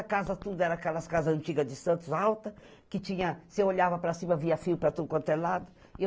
A casa tudo era aquelas casas antigas de Santos, alta, que tinha... Se eu olhava para cima, havia fio para tudo quanto é lado.